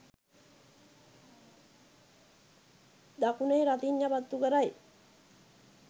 දකුණේ රතිඤ්ඤා පත්තු කරයි